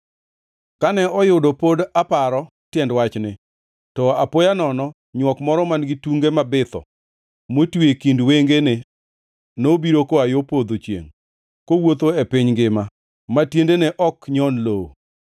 Kane oyudo pod aparo tiend wachni, to apoya nono nywok moro man-gi tunge mabitho motwi e kind wengene nobiro koa yo podho chiengʼ kowuotho e piny ngima ma tiendene ok nyon lowo.